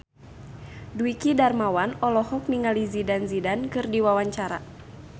Dwiki Darmawan olohok ningali Zidane Zidane keur diwawancara